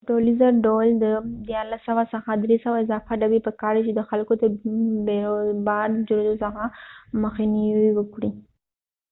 په ټولیزه ډول د 1300 څخه 300 اضافه ډبی په کار دي چې د خلکو د بیروبار د جوړیدو څخه مخنیوې وکړي